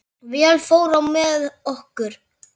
Vel fór á með okkur.